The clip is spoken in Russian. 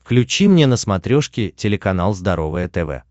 включи мне на смотрешке телеканал здоровое тв